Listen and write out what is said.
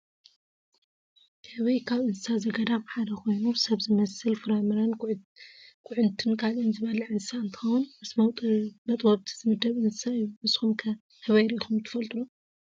ህበይ ካብ እንስሳ ዘገዳም ሓደ ኮይኑ ሰብ ዝመስል ፍራምረን ኩዕንትን ካልእን ዝበልዕ እንስሳ እንትከውን ምስ መጥበውቲ ዝምደብ እንስሳ እዩ። ንስኩም ከ ህበይ ሪኢኩም ትፈልጡ ዶ ?